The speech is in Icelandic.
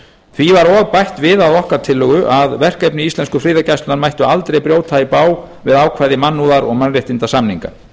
því var og bætt við að okkar tillögu að verkefni íslensku friðargæslunnar mættu aldrei brjóta í bág við ákvæði mannúðar og mannréttindasamninga